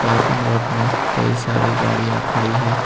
Parking lot में कई सारी गाड़ियां खड़ी है।